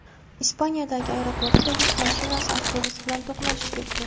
Ispaniyadagi aeroportda yuk mashinasi avtobus bilan to‘qnashib ketdi.